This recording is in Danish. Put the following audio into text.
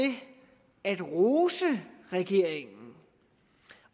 at rose regeringen